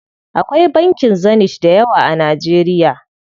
Akwai bankin Zenith dayawa a Najeriya.